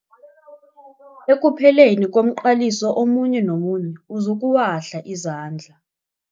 Ekupheleni komqaliso omunye nomunye uzokuwahla izandla.